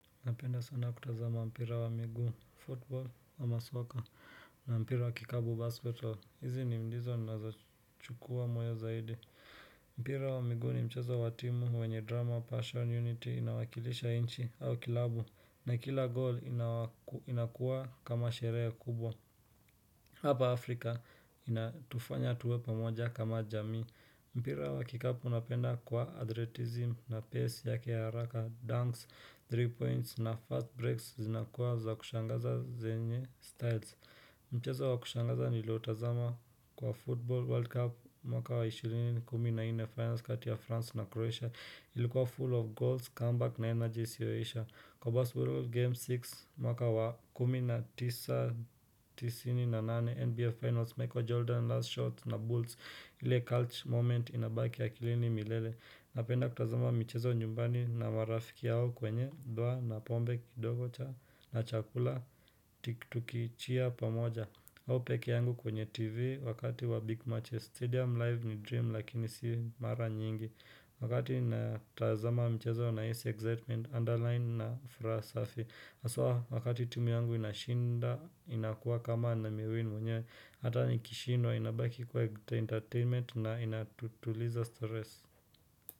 Napenda sana kutazama mpira wa miguu, football ama soccer na mpira wa kikapu, basketball. Hizi ni ndizo zinazochukua moyo zaidi. Mpira wa miguu ni mchezo wa timu wenye drama, passion, unity inawakilisha inchi au klabu. Na kila goal inakuwa kama sherehe kubwa. Hapa Afrika inatufanya tuwe pamoja kama jamii. Mpira wa kikapu unapenda kwa adretism na pace yake ya haraka Dunks, three points na fast breaks zinakuwa za kushangaza zenye styles Mchezo wa kushangaza nilio utazama kwa football world cup mwaka wa 20 na nne finals kati ya France na Croatia Ilikuwa full of goals, comeback na energy isiyoisha. Kwa basketball game 6 mwaka wa 1998 NBA Finals, Michael Jordan last shot na Bulls ile cult moment inabaki akilini milele Napenda kutazama michezo nyumbani na marafiki yao kwenye dwa na pombe kidogo cha na chakula tiki cheer pamoja au pekee yangu kwenye tv wakati wa big matches Stadium live ni dream lakini si mara nyingi Wakati ninatazama mchezo nahisi excitement underline na furaha safi aswa wakati tumi yangu inashinda inakuwa kama nimewin mwenyewe. Hata nikishindwa inabaki kuwa entertainment na inatutuliza stress.